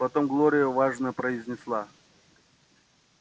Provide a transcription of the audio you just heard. потом глория важно произнесла